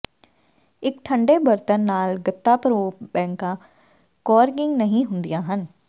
ਇੱਕ ਠੰਡੇ ਬਰਤਨ ਨਾਲ ਗੱਤਾ ਭਰੋ ਬੈਂਕਾਂ ਕੌਰਕਿੰਗ ਨਹੀਂ ਹੁੰਦੀਆਂ ਹਨ